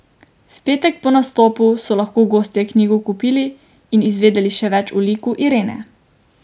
V petek po nastopu so lahko gostje knjigo tudi kupili in izvedeli še več o liku Irene.